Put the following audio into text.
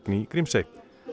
í Grímsey